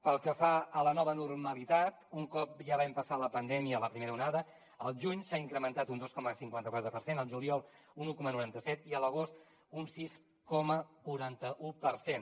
pel que fa a la nova normalitat un cop ja vam passar la pandèmia la primera onada al juny s’ha incrementat un dos coma cinquanta quatre per cent al juliol un un coma noranta set i a l’agost un sis coma quaranta un per cent